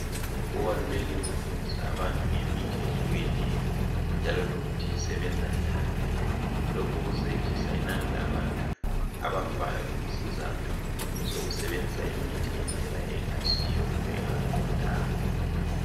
Kubalulekile ukufundisa abantu ngemithi ehlukeneyo njalo lokuthi usebenza njani. Lokhu kuzehlisa inani labantu abafayo ngesizathu sokusebenzisa imithi ngendlela engayisiyo kumbe engaqondanga.